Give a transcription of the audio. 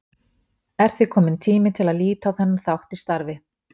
Er því kominn tími til að líta á þennan þátt í starfi